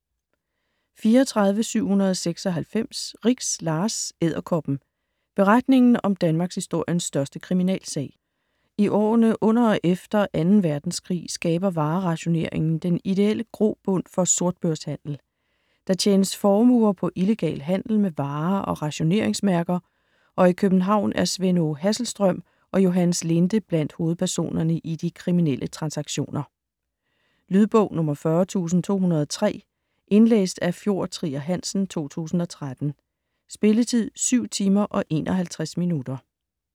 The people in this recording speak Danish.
34.796 Rix, Lars: Edderkoppen: Beretningen om Danmarkshistoriens største kriminalsag I årene under og efter 2. Verdenskrig skaber varerationeringen den ideelle grobund for sortbørshandel. Der tjenes formuer på illegal handel med varer og rationeringsmærker, og i København er Svend Aage Hasselstrøm og Johannes Linde blandt hovedpersonerne i de kriminelle transaktioner. Lydbog 40203 Indlæst af Fjord Trier Hansen, 2013. Spilletid: 7 timer, 51 minutter.